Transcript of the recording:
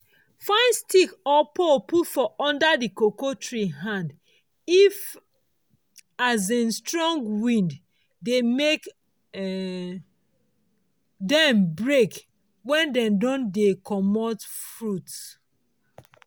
find stick or pole put for under the cocoa tree hand if um strong wind dey make um dem break wen dey don dey commot fruit.